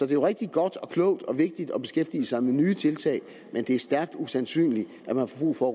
det jo rigtig godt og klogt og vigtigt at beskæftige sig med nye tiltag men det er stærkt usandsynligt at man får brug for